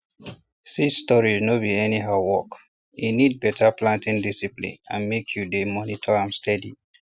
seed storage no be anyhow work e need better planning discipline and make you dey monitor am steady